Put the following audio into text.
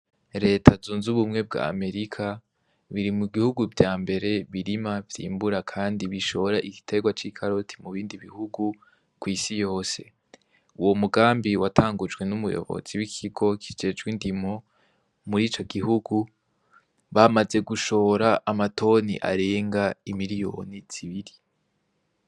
Leta zunze ubumwe bwa amerika biri mu gihugu vya mbere birima vyimbura, kandi bishora igiterwa c'i karoti mu bindi bihugu kw'isi yose uwo mugambi watangujwe n'umuyobozi w'ikigo kijejwe indimo muri ico gihugu bamaze gushora amatoni arenga imiliyoni zibiri.